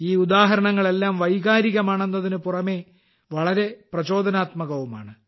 ഈ ഉദാഹരണങ്ങളെല്ലാം വൈകാരികമാണെന്നതിനുപുറമെ വളരെ പ്രചോദനാത്മകവുമാണ്